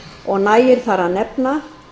og nægir þar að nefna